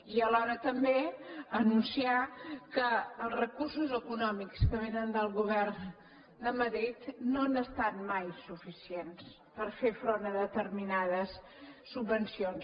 i alhora també anunciar que els recursos econòmics que vénen del govern de madrid no han estat mai suficients per fer front a determinades subvencions